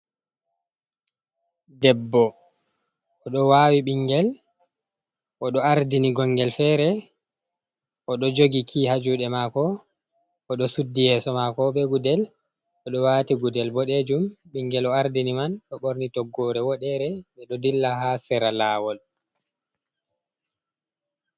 Debbo o ɗo wawi ɓingel o ɗo ardini gongel fere o ɗo jogi ki ha juɗe mako o ɗo suddi yeso mako be gudel, o ɗo wati gudel boɗejum, ɓingel o ardini man ɗo ɓorni toggore woɗere ɓe ɗo dilla ha sera lawol.